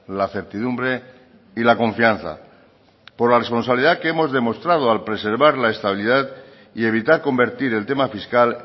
la certidumbre y la confianza por la responsabilidad que hemos demostrado al preservar la estabilidad y evitar convertir el tema fiscal